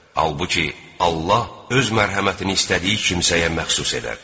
Halbuki, Allah öz mərhəmətini istədiyi kimsəyə məxsus edər.